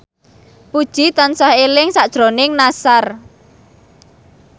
Puji tansah eling sakjroning Nassar